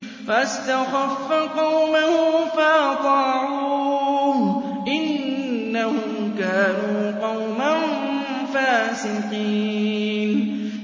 فَاسْتَخَفَّ قَوْمَهُ فَأَطَاعُوهُ ۚ إِنَّهُمْ كَانُوا قَوْمًا فَاسِقِينَ